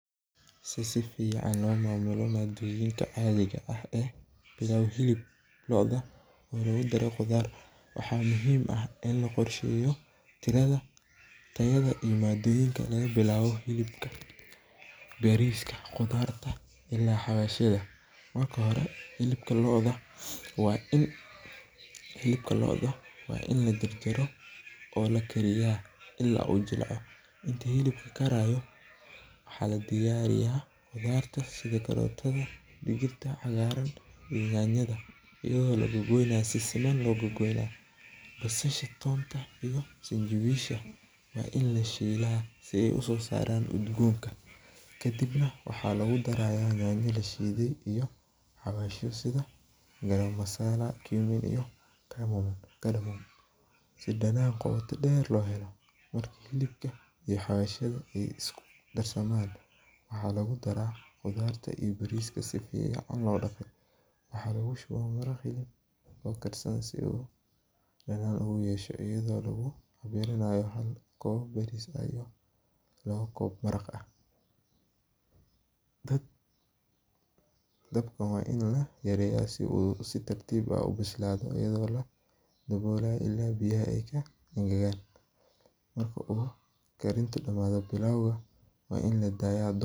Si sifican lomamulo madoyinka caadiga ah ee pilau hilibka looda ah ee lagudaro qudaar, waxa muxiim ah in laqorsheyo tirada, tayada iyo madoyinka lagabilabo hiibka, bariiska , qudaart ila hawadhyada, marka hore hilibka looda wa in lajarjaro oo lakariya ila uu jilco, inyi hilibka karayo waxa ladiyariya qudarta sidha karotada iyo digirta cagaraan iyo nyanyada, iyado lagagoynayo si simaan logagoynayo, basadha toonta iyo sanjawisha, wa in lashila si ay usosaran udgonka, kadibna waxa lagudaraya nyanaya lashiday iyo hawashyo sidha pilau masala si danan goota deer lohelo, marka hilibka iyo hawashyada ay iskudarsaman waxa lagudara qudarta iyo bariiska sifica lodagay, waxa lagushuwa maraqii oo karsan si uu danan oguyesho iyado lagudaro koob bariis ah iyo lawo koob maraq ah, dabka wa in layareya si uu si tartib ah ubislado, waladabola ila ay biyaha kaengagan, marka uu karinta damado wa in ladaya dabku.